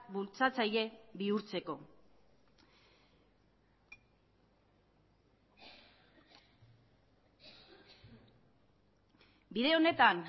bultzatzaile bihurtzeko bide honetan